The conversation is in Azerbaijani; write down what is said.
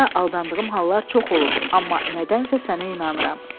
Həyatda aldandığım hallar çox olub, amma nədənsə sənə inanıram.